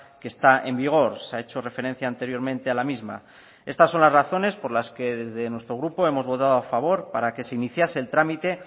que está en vigor se ha hecho referencia anteriormente a la misma estas son las razones por las que desde nuestro grupo hemos votado a favor para que se iniciase el trámite